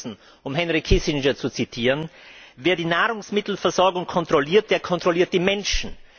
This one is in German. Und wir wissen, um Henry Kissinger zu zitieren, wer die Nahrungsmittelversorgung kontrolliert, der kontrolliert die Menschen.